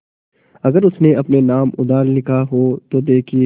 अगर उसने अपने नाम उधार लिखा हो तो देखिए